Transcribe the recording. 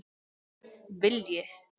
Vilji